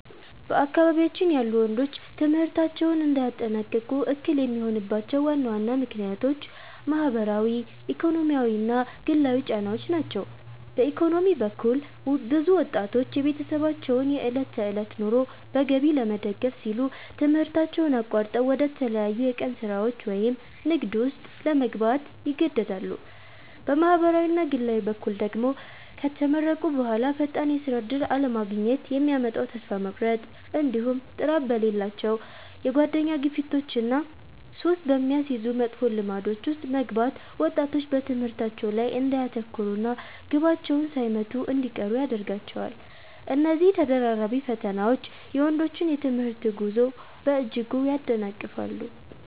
በአካባቢያችን ያሉ ወንዶች ትምህርታቸውን እንዳያጠናቅቁ እክል የሚሆኑባቸው ዋና ዋና ምክንያቶች ማኅበራዊ፣ ኢኮኖሚያዊና ግላዊ ጫናዎች ናቸው። በኢኮኖሚ በኩል፣ ብዙ ወጣቶች የቤተሰባቸውን የዕለት ተዕለት ኑሮ በገቢ ለመደገፍ ሲሉ ትምህርታቸውን አቋርጠው ወደ ተለያዩ የቀን ሥራዎች ወይም ንግድ ውስጥ ለመግባት ይገደዳሉ። በማኅበራዊና ግላዊ በኩል ደግሞ፣ ከተመረቁ በኋላ ፈጣን የሥራ ዕድል አለማግኘት የሚያመጣው ተስፋ መቁረጥ፣ እንዲሁም ጥራት በሌላቸው የጓደኛ ግፊቶችና ሱስ በሚያስይዙ መጥፎ ልማዶች ውስጥ መግባት ወጣቶች በትምህርታቸው ላይ እንዳያተኩሩና ግባቸውን ሳይመቱ እንዲቀሩ ያደርጋቸዋል። እነዚህ ተደራራቢ ፈተናዎች የወንዶችን የትምህርት ጉዞ በእጅጉ ያደናቅፋሉ።